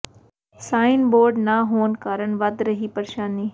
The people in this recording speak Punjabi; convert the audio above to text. ਸਾਈਨ ਬੋਰਡ ਨਾ ਹੋਣ ਕਾਰਨ ਵੱਧ ਰਹੀ ਏ ਪ੍ਰੇਸ਼ਾਨੀ